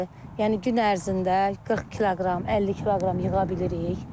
Yəni gün ərzində 40 kiloqram, 50 kiloqram yığa bilirik.